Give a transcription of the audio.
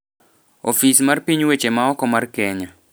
Ofis mar piny weche maoko mar Kenya,